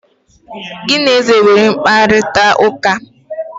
gi na eze o nwere mkparịta ụka?